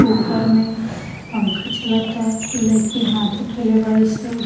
ऊपर मे पंखा चलाता कोय लइकी हाथ उठेएले बाड़ी सन।